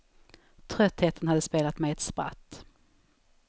Tröttheten hade spelat mig ett spratt.